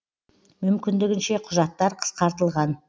мүмкіндігінше құжаттар қысқартылған